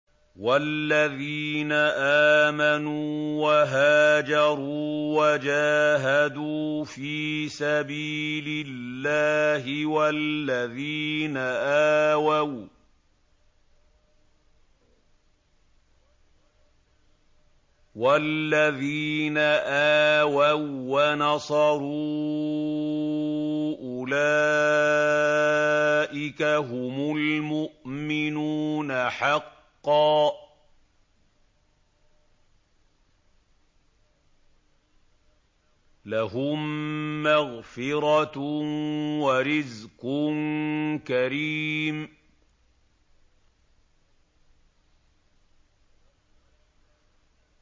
وَالَّذِينَ آمَنُوا وَهَاجَرُوا وَجَاهَدُوا فِي سَبِيلِ اللَّهِ وَالَّذِينَ آوَوا وَّنَصَرُوا أُولَٰئِكَ هُمُ الْمُؤْمِنُونَ حَقًّا ۚ لَّهُم مَّغْفِرَةٌ وَرِزْقٌ كَرِيمٌ